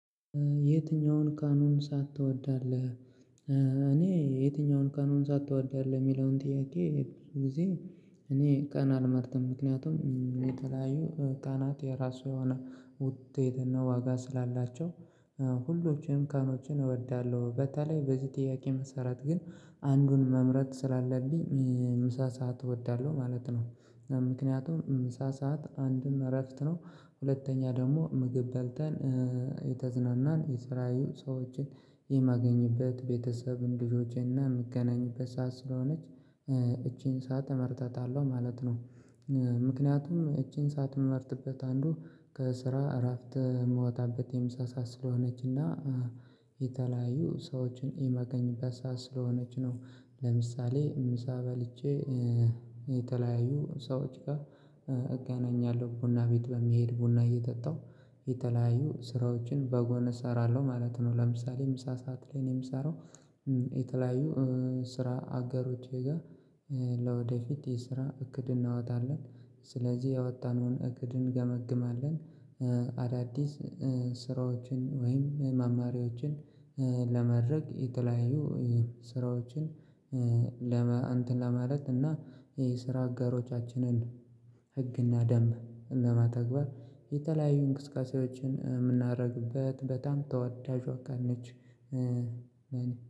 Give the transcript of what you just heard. የትኛውን ቀኑን ሳዓት ትወዳለህ? እኔ የትኛውን ቀኑን ሳዓት ትወዳለህ የሚለውን ጥያቄ ብዙ ጊዜ። እኔ ቀናት አልመርጥም ምክንያቱም የተለያዩ ቀናት የራሱ የሆነ ውጤትና ዋጋ ስላላቸው ሁሉም ቀኖችን እወዳለሁ። በተለይ በዚህ ጥያቄ መሰረት ግን አንዱን መምረጥ ስላለብኝ ምሳ ሰዓት እወዳለሁ ማለት ነው። ምክንያቱም ምሳ ሰዓት አንድም እረፍት ነው። ሁለተኛ ደግሞ ምግብ በልተን የተዝናናን የስራዬ ሰዎችን የማገኝበት ቤተሰብ ልጆቸንና የምገናኝበት ሰዓት ስለሆነች ይቺን ሰዓት እመርጣታለሁ ማለት ነው። ምክንያቱም ይቺን ሰዓት የምመርጥበት አንዱ ከስራ እራፍት የምወጣበት የምሳ ሰዓት ስለሆነችና የተለያዩ ሰዎችን የማገኝበት ሰዓት ስለሆነች ነው። ለምሳሌ ምሳ በልቼ የተለያዩ ሰዎች ጋር እገናኛለሁ። ቡና ቤት በሚሄድ ቡና እየጠጣሁ የተለያዩ ስራዎችን በጎን እሰራለሁ ማለት ነው። ለምሳሌ ምሳ ሰዓት ላይ ነው የምሰራው። የተለያዩ ስራ አጋሮቼ ጋር ለወደፊት የስራ እቅድ እናወጣለን። ስለዚህ ያወጣነውን እቅድ እንገመግማለን። አዳዲስ ስራዎችን ወይም መማሪያዎችን። ለማድረግ የተለያዩ ስራዎችን ለመ እንትን ለማለት እና የስራ አጋሮቻችንን ህግና ደምብ ለማተግበር። የተለያዩ እንቅስቃሴያችን የምናደርግበት በጣም ተወዳጇ አካልነች።